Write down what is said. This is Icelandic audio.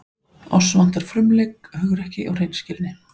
Oss vantar frumleik, hugrekki og hreinskilni.